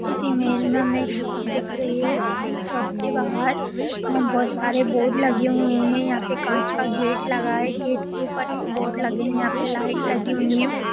इस इमेज में हमें एक शॉप दिख रही है। शॉप के बाहर अं बहोत सारे बोर्ड लगे हुए हैं यहां पे कांच का गेट लगा है। गेट के ऊपर भी बोर्ड लगे हैं। यहाँ पे लाइट लगी हुई हैं।